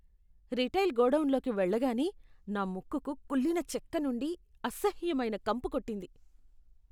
Retail గోడౌన్లోకి వెళ్లగానే, నా ముక్కుకు కుళ్ళిన చెక్క నుండి అసహ్యమైన కంపు కొట్టింది.